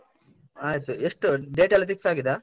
ಆಯ್ತು. ಎಷ್ಟು? date ಎಲ್ಲ fix ಆಗಿದಾ?